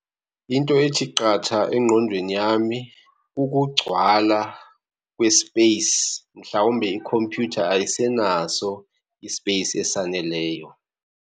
Into ethi qatha engqondweni yami kukugcwala kwesipeyisi. Mhlawumbi ikhompyutha ayisenaso isipeyisi esaneleyo.